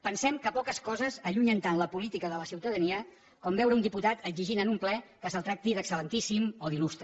pensem que poques coses allunyen tant la política de la ciutadania com veure un diputat exigint en un ple que se’l tracti d’excel·lentíssim o d’il·lustre